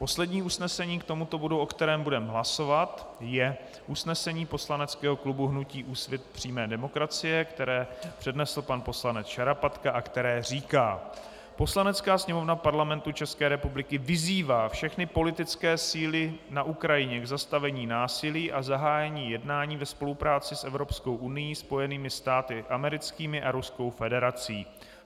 Poslední usnesení k tomuto bodu, o kterém budeme hlasovat, je usnesení poslaneckého klubu hnutí Úsvit přímé demokracie, které přednesl pan poslanec Šarapatka a které říká: "Poslanecká sněmovna Parlamentu České republiky vyzývá všechny politické síly na Ukrajině k zastavení násilí a zahájení jednání ve spolupráci s Evropskou unií, Spojenými státy americkými a Ruskou federací.